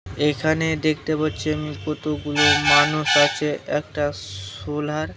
এখানে দেখতে পাচ্ছি আমি কতগুলো মানুষ আছে একটা সোলার--